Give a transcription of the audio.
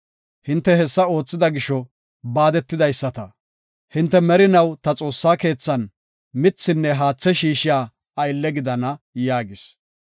Hinte hessa oothida gisho, baadetidaysata. Hinte merinaw ta Xoossaa keethan mithin haathe shiishiya aylle gidana” yaagis.